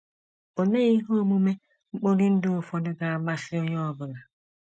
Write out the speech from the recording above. Olee ihe omume mkpori ndụ ụfọdụ ga - amasị onye ọ bụla?